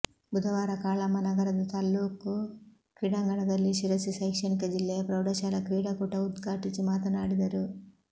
ಬುಧವಾರ ಕಾಳಮ್ಮನಗರದ ತಾಲ್ಲೂಕು ಕ್ರೀಡಾಂಗಣದಲ್ಲಿ ಶಿರಸಿ ಶೈಕ್ಷಣಿಕ ಜಿಲ್ಲೆಯ ಪ್ರೌಢಶಾಲಾ ಕ್ರೀಡಾಕೂಟ ಉದ್ಘಾಟಿಸಿ ಮಾತನಾಡಿದರು